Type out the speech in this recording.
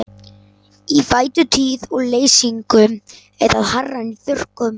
Í vætutíð og leysingum er það hærra en í þurrkum.